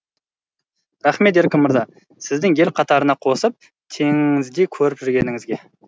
рахмет еркін мырза сіздің ел қатарына қосып теңіңіздей көріп жүргеніңізге